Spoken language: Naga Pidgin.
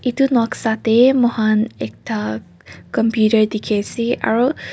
itu noksa teh moihan ekta computer dikhi ase aro.